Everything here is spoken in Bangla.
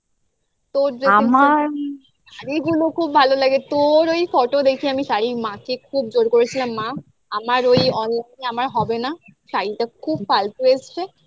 তোর যেমন আমার শাড়িগুলো খুব ভালো লাগে তোর ওই photo দেখে আমি শাড়ির মাকে জোর করেছিলাম মা আমার ওই আমার হবে না শাড়িটা খুব ফালতু এসছে